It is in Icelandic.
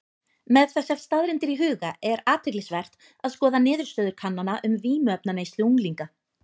Með þessar staðreyndir í huga er athyglisvert að skoða niðurstöður kannana um vímuefnaneyslu unglinga.